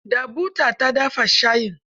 Da buta ta dafa shayin.